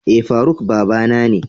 Eh Faruk babana ne.